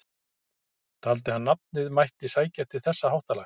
Taldi hann að nafnið mætti sækja til þessa háttalags.